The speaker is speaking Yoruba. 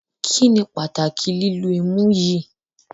Kíni pátàkì lìlù ìmú yìí?